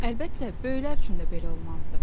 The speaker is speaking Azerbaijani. Əlbəttə, böyüklər üçün də belə olmalıdır.